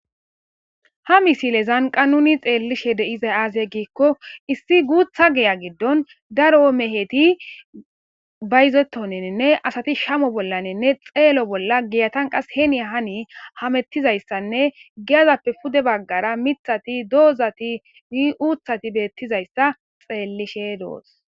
ha misile zanqa nuni xeellishe deizay aase giikko issi guutha geya giddon daro meheti bayzetoniinne asati shamo bollaninne xeelo bolla giyatan qas heni hani hamettizayssanne giyazappe pude baggara mithati doozati i uuthati beettizayssa xeellishe doos